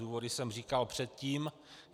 Důvody jsem říkal předtím.